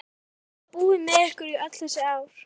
Eftir að hafa búið með ykkur í öll þessi ár?